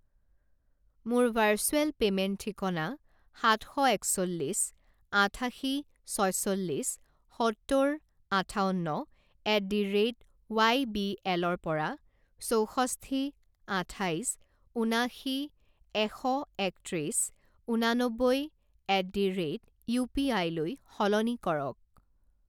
মোৰ virtual payment ঠিকনা সাত শ একচল্লিছ আঠাশী ছয়চল্লিছ সত্তৰ আঠাৱন্ন at the rate Y B এলৰ পৰা চৌষষ্ঠি আঠাইছ ঊনাশী এশ একত্ৰিছ ঊননবৈ এট দি ৰে'ট ইউপিআইলৈ সলনি কৰক।